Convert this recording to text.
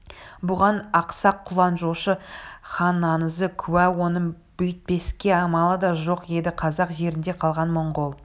бұған ақсақ құлан жошы ханаңызы куә оның бүйтпеске амалы да жоқ еді қазақ жерінде қалған монғол